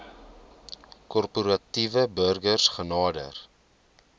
korporatiewe burgers genader